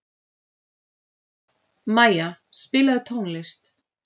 Maja, spilaðu tónlist.